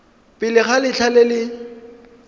pele ga letlha le le